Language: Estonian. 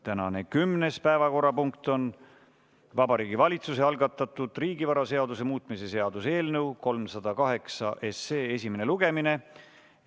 Tänane 10. päevakorrapunkt on Vabariigi Valitsuse algatatud riigivaraseaduse muutmise seaduse eelnõu 308 esimene lugemine.